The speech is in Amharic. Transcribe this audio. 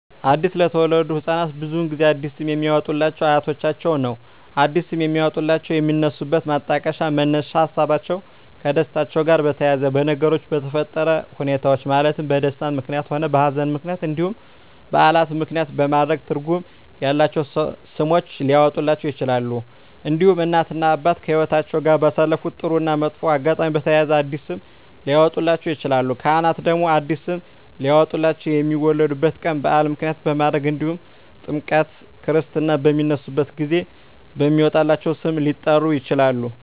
አዲስ ለተወለዱ ህፃናት ብዙውን ጊዜ አዲስ ስም የሚያወጡሏቸው አያቶቻቸውን ነው አዲስ ስም የሚያወጧላቸው የሚነሱበት ማጣቀሻ መነሻ ሀሳቦች ከደስታቸው ጋር በተያያዘ በነገሮች በተፈጠረ ሁኔታዎች ማለትም በደስታም ምክንያትም ሆነ በሀዘንም ምክንያት እንዲሁም በዓላትን ምክንያትም በማድረግ ትርጉም ያላቸው ስሞች ሊያወጡላቸው ይችላሉ። እንዲሁም እናት እና አባት ከህይወትአቸው ጋር ባሳለፉት ጥሩ እና መጥፎ አጋጣሚ በተያያዘ አዲስ ስም ሊያወጡላቸው ይችላሉ። ካህናት ደግሞ አዲስ ስም ሊያወጡላቸው የሚወለዱበት ቀን በዓል ምክንያት በማድረግ እንዲሁም ጥምረተ ክርስትና በሚነሱበት ጊዜ በሚወጣላቸው ስም ሊጠሩ ይችላሉ።